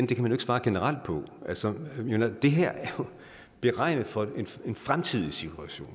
kan svare generelt på det altså det her er jo beregnet for en fremtidig situation